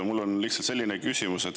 Mul on lihtsalt selline küsimus.